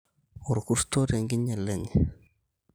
(orr`kuto) Tenkinyala enye